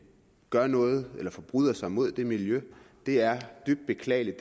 gør noget eller de forbryder sig mod det miljø det er dybt beklageligt